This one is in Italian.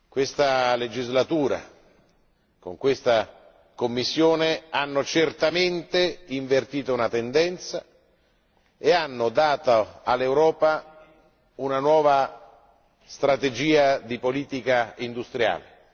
Questa legislatura con l'attuale Commissione hanno certamente invertito una tendenza e hanno dato all'Europa una nuova strategia di politica industriale.